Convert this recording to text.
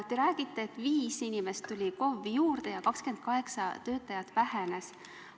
Teie räägite, et 5 inimest tuli KOV-i juurde ja 28 töötajat vähenes.